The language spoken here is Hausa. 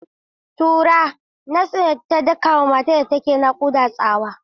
Tura! Nas ɗin ta daka wa matar da ke nakuda tsawa.